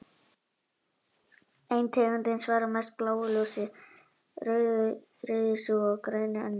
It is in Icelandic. Ein tegundin svarar mest bláu ljósi, önnur grænu og sú þriðja rauðu.